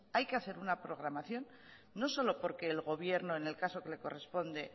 hay que hacer una programación no solo porque el gobierno en el caso que le corresponde